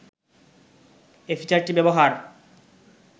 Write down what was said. এ ফিচারটি ব্যবহার